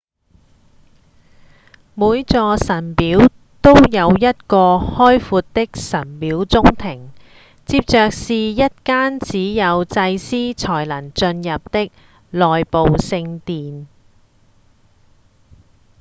每座神廟都有一個開闊的神廟中庭接著是一間只有祭司才能進入的內部聖殿